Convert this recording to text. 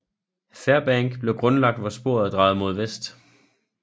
Fairbank blev grundlagt hvor sporet drejede mod vest